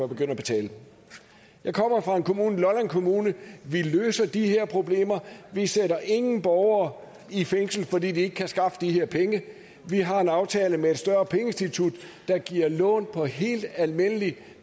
begynde at betale jeg kommer fra lolland kommune vi løser de her problemer vi sætter ikke nogen borgere i fængsel fordi de ikke kan skaffe de her penge vi har en aftale med et større pengeinstitut der giver lån på helt almindelige